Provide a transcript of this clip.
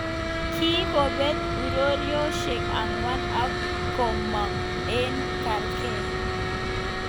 Kikobet urerioshek angwan ak komong eng kargei.